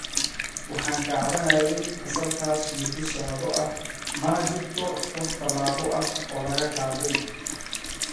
"Waxaan ka cabanaynay falalkaas muddo sanado ah, mana jirto wax tallaabo ah oo la qaaday."